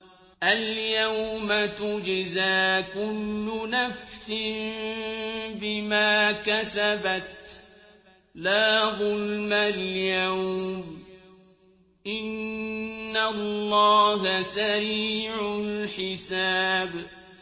الْيَوْمَ تُجْزَىٰ كُلُّ نَفْسٍ بِمَا كَسَبَتْ ۚ لَا ظُلْمَ الْيَوْمَ ۚ إِنَّ اللَّهَ سَرِيعُ الْحِسَابِ